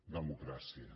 democràcia